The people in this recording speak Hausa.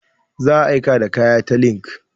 Za a aika da kaya ta linkedIn.